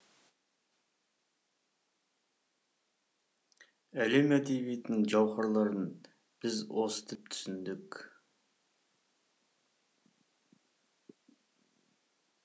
әлем әдебиетінің жауһарларын біз осы тілмен оқып түсіндік